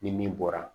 Ni min bɔra